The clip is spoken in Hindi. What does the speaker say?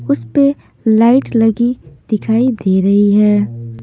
उस पे लाइट लगी दिखाई दे रही है।